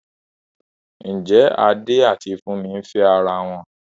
Ǹjẹ́ Adé àti Fúnmi ń fẹ́ ara wọn?